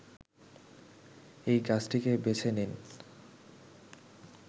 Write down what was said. এই গাছটিকে বেছে নেন